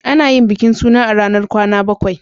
Ana yin bikin suna a ranar kwana bakwai.